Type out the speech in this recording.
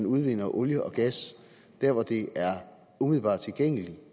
udvindes olie og gas der hvor det er umiddelbart tilgængeligt